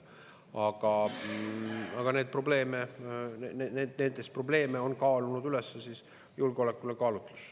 Aga neid probleeme Soomes on kaalunud üles julgeolekukaalutlus.